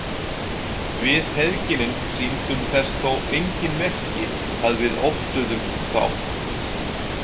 Við feðginin sýndum þess þó engin merki að við óttuðumst þá.